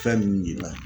Fɛn ninnu de la